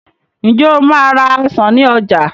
Ǹjẹ́ o máa ra ọsàn ní ọjà